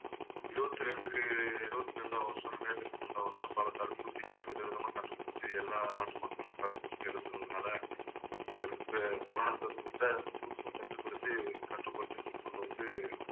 இருபத்திரண்டுக்கு இருபத்தி இரண்டாம் வருஷம் இரண்டாயிரத்து வருஷம் பல தடுப்பூசிகள் விதவிதமா கண்டுபிடிச்சு எல்லா நாட்டு மக்களும் தடுப்பூசி செலுத்துனதுனால இந்த இந்த corona தொற்ற முழுசும் கட்டுப்படுத்தி கட்டுப்பட்டு கொண்டு வந்து